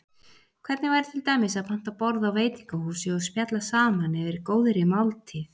Hvernig væri til dæmis að panta borð á veitingahúsi og spjalla saman yfir góðri máltíð?